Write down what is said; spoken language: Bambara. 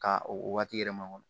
Ka o waati yɛrɛ makɔnɔ